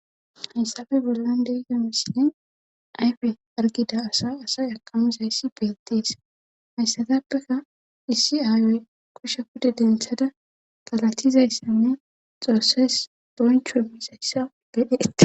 Hayssafe bollandeygemesinne ayfe argida asa asay akamizayssi beettees hayssatappeka issi aayoy koshsha kude denthada galatizayssanne xoosses bonchwe mizayssa bedhee